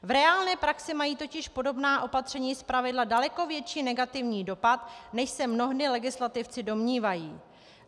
V reálné praxi mají totiž podobná opatření zpravidla daleko větší negativní dopad, než se mnohdy legislativci domnívají.